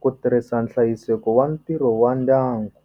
ku tirhisa nhlayiseko wa ntirho wa ndyangu.